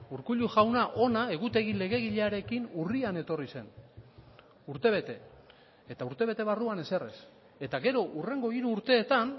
urkullu jauna hona egutegi legegilearekin urrian etorri zen urtebete eta urtebete barruan ezer ez eta gero hurrengo hiru urteetan